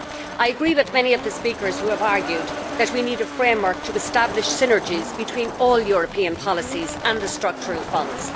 I agree with many of the speakers who have argued that we need a framework to establish synergies between all European policies and the Structural Funds.